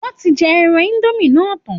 Wọ́n ti jẹ ẹran indomie náà tán